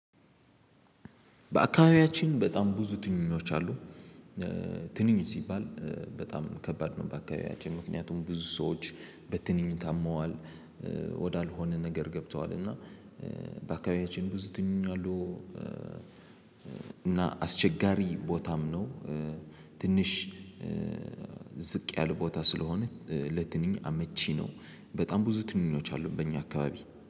በአካባቢያችን በጣም ብዙ ትንኞች አሉ። ትንኝ ሲባል በጣም ከባድ ነው። በአካባቢያችን ምክንያቱም ብዙ ሰዎች በትንኝ ሞተዋል። ወዳልሆነ ነገር ገብተዋል። እና በአካባቢያችን ብዙ ትንኞች አሉ። እና አስቸጋሪ ቦታም ነው። ትንሽ ዝቅ ያለ ቦታ ስለሆነ ለትንኝ አመቺ ነው። በጣም ብዙ ትንኝች ያሉበት አካባቢ